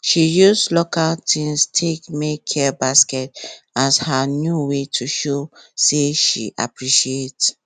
she use local things take make care baskets as her new way to show say she appreciate